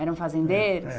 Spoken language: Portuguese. Eram fazendeiros? É